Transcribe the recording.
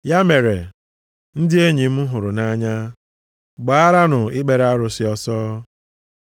Ya mere, ndị enyi m hụrụ nʼanya, gbaaranụ ikpere arụsị ọsọ.